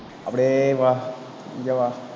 அப்படியே வா, இங்க வா